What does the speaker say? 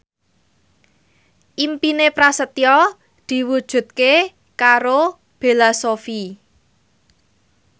impine Prasetyo diwujudke karo Bella Shofie